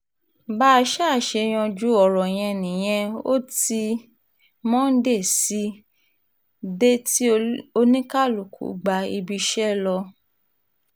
bá a ṣáà ṣe yanjú ọ̀rọ̀ yẹn nìyẹn ò ti monde sì dé tí oníkálùkù gba ibiiṣẹ́ ẹ̀ lọ